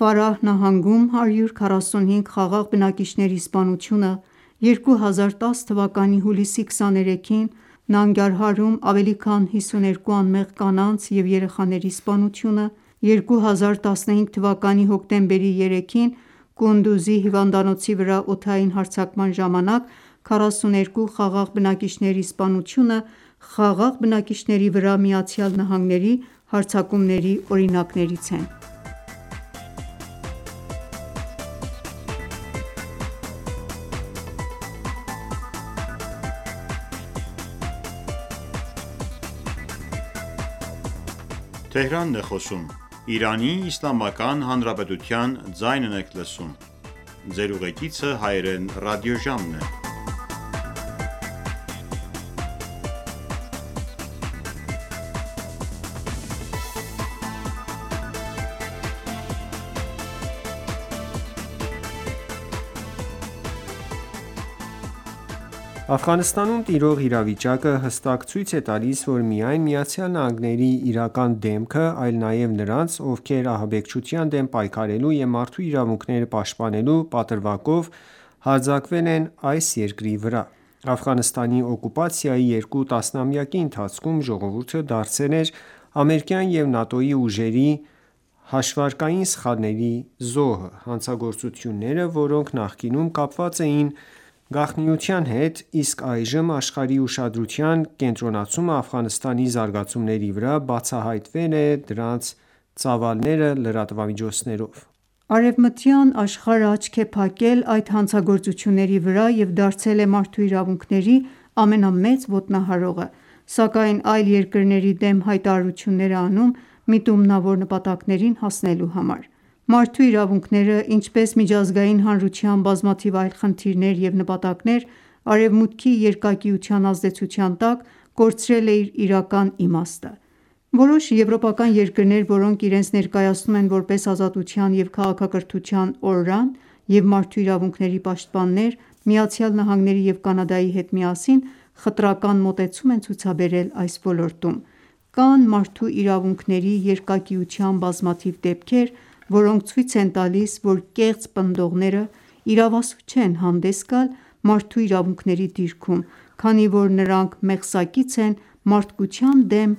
Ֆարահ նահանգում 145 խաղաղ բնակիչների սպանությունը, 2010 թվականի հուլիսի 23-ին Նանգարհարում ավելի քան 52 անմեղ կանանց և երեխաների սպանությունը, 2015 թվականի հոկտեմբերի 3-ին Կունդուզի հիվանդանոցի վրա օդային հարձակման ժամանակ 42 խաղաղ բնակիչների սպանությունը խաղաղ բնակիչների վրա ԱՄՆ-ի հարձակումների օրինակներից են: Աֆղանստանում տիրող իրավիճակը հստակ ցույց է տալիս ոչ միայն ԱՄՆ-ի իրական դեմքը, այլ նաև նրանց, ովքեր ահաբեկչության դեմ պայքարելու և մարդու իրավունքները պաշտպանելու պատրվակով հարձակվել են այս երկրի վրա։ Աֆղանստանի օկուպացիայի երկու տասնամյակի ընթացքում ժողովուրդը դարձել էր ամերիկյան և ՆԱՏՕ-ի ուժերի հաշվարկային սխալների զոհը։ Հանցագործությունները, որոնք նախկինում կապված էին գաղտնիության հետ, իսկ այժմ աշխարհի ուշադրության կենտրոնացումը Աֆղանստանի զարգացումների վրա, բացահայտվել է դրանց ծավալները լրատվամիջոցներով։ Արևմտյան աշխարհը աչք է փակել այդ հանցագործությունների վրա և դարձել է մարդու իրավունքների ամենամեծ ոտնահարողը, սակայն այլ երկրների դեմ հայտարարություններ է անում՝ միտումնավոր նպատակներին հասնելու համար։ Մարդու իրավունքները, ինչպես միջազգային հանրության բազմաթիվ այլ խնդիրներ և նպատակներ Արեւմուտքի երկակիության ազդեցության տակ կորցրել է իր իրական իմաստը։ Որոշ եվրոպական երկրներ, որոնք իրենց ներկայացնում են որպես ազատության և քաղաքակրթության օրրան և մարդու իրավունքների պաշտպաններ ԱՄՆ-ի և Կանադայի հետ միասին, խտրական մոտեցում են ցուցաբերել այս ոլորտում։ Կան մարդու իրավունքների երկակիության բազմաթիվ դեպքեր, որոնք ցույց են տալիս, որ կեղծ պնդողները իրավասու չեն հանդես գալ մարդու իրավունքների դիրքում, քանի որ նրանք մեղսակից են մարդկության դեմ